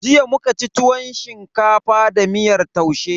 Jiya muka ci tuwon shinkafa da miyar taushe.